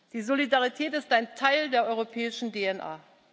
Die Solidarität ist ein Teil der europäischen DNA.